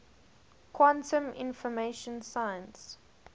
quantum information science